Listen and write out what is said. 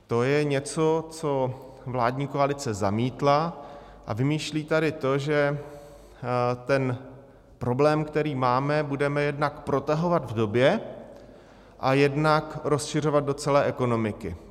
To je něco, co vládní koalice zamítla, a vymýšlí tady to, že ten problém, který máme, budeme jednak protahovat v době a jednak rozšiřovat do celé ekonomiky.